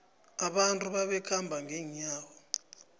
abantu babekhamba ngenyawo